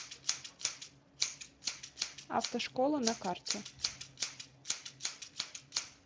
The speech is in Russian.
автошкола на карте